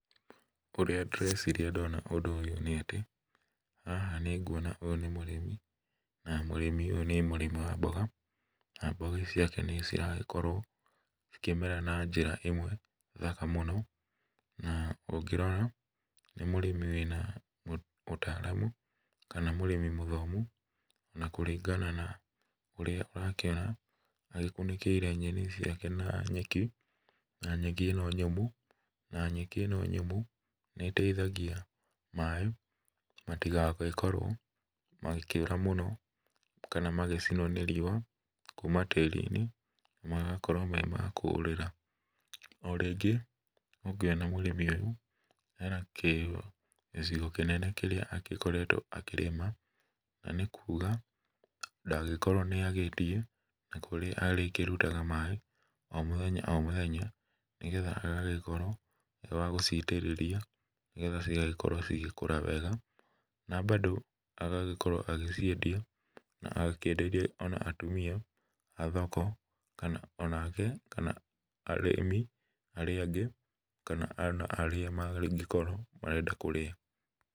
Ũrĩa ndĩreciria ndona ũndũ ũyũ nĩ atĩ, haha nĩnguona ũyũ nĩ mũrĩmi, na mũrĩmi ũyũ nĩ mũrĩmi wa mboga, na mboga ici ciake nĩciragĩkorwo cikĩmera na njĩra ĩmwe thaka mũno, na ũngĩrora, nĩ mũrĩmi wĩna ũtaramu, kana mũrĩmi mũthomu, na kũringana na ũrĩa ũrakĩona agĩkunĩkĩire nyeni ici ciake na nyeki, na nyeki ĩno nyũmũ, na nyeki ĩno nyũmũ nĩteithagia maĩ matigagĩkorwo magĩkĩũra mũno, kana magĩcinwo nĩ riũa kuma tĩri-inĩ, magakorwo me ma kũrĩra, o rĩngĩ, nĩnguona mũrĩmi rĩu, ena kĩcigo kĩnene kĩrĩa agĩkoretwo akĩrĩma, na nĩkuga, ndangĩkorwo nĩagĩte, na kũrĩa arĩrutaga maĩ, o mũthenya o mũthenya, nĩgetha agagĩkorwo e wa gũcitĩrĩria, nĩgetha cigagĩkorwo cigĩkũra wega, na bado, agagĩkorwo agĩciendia, na akenderia o na atumia, a thoko, kana onake kana arĩmi arĩa angĩ, kana ona arĩa mangĩkorwo marenda kũrĩa.